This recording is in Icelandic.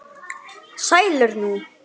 Sælir nú.